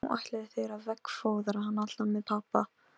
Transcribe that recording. Og nú segið þið að meiri hluti Alþingis trúi þessu.